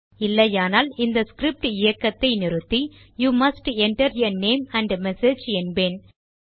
இல்லையானால் இந்த ஸ்கிரிப்ட் இயக்கத்தை நிறுத்தி you must enter a name and message என்பேன்